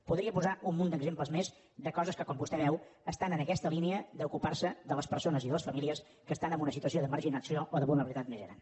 podria posar un munt d’exemples més de coses que com vostè veu estan en aquesta línia d’ocupar se de les persones i de les famílies que estan en una situació de marginació o de vulnerabilitat més gran